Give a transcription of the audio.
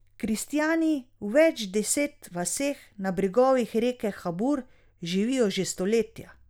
Kristjani v več deset vaseh na bregovih reke Habur živijo že stoletja.